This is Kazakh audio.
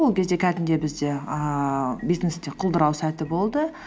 ол кезде кәдімгідей бізде ііі бизнесте құлдырау сәті болды